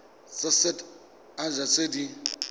tsa set haba tse di